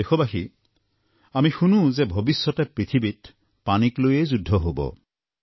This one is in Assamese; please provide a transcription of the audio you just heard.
প্ৰিয় দেশবাসী আমি শুনো যে ভৱিষ্যতে পৃথিৱীত পানীক লৈয়ে যুদ্ধ হব